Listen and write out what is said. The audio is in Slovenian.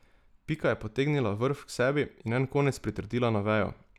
Pika je potegnila vrv k sebi in en konec pritrdila na vejo.